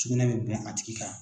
Sugunɛ bɛ bɛn a tigi kan